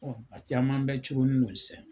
Ɔ a caman bɛɛɛ coron ni no sɛn